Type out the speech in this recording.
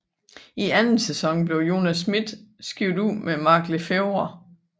I anden sæson blev Jonas Schmidt skiftet ud med Mark Le Fêvre